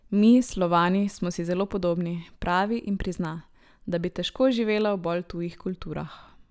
Mi, Slovani, smo si zelo podobni, pravi in prizna, da bi težko živela v bolj tujih kulturah.